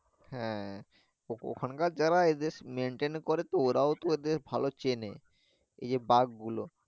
হ্যাঁ ওখানকার যারা এদের maintain করে ওরাও তো এদের ভালো চেনে এই যে বাঘ গুলো